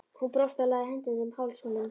Hún brosti og lagði hendurnar um háls honum.